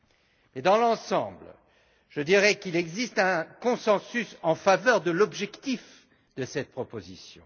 Mais, dans l'ensemble, je dirais qu'il existe un consensus en faveur de l'objectif de cette proposition.